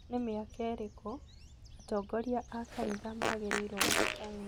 Nĩ mĩaka ĩrikũ atongoria a kanitha magĩrĩĩrwo gũtiga wĩra?